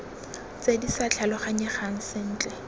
tse di sa tlhaloganyegang sentle